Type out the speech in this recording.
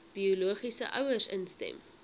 biologiese ouers instem